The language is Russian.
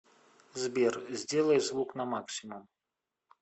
сбер сделай звук на максимум